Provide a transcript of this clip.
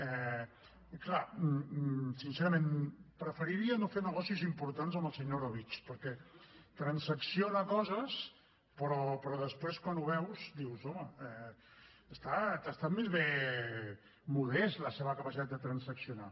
clar sincerament preferiria no fer negocis importants amb el senyor orobitg perquè transacciona coses però després quan ho veus dius home ha estat més aviat modesta la seva capacitat de transaccionar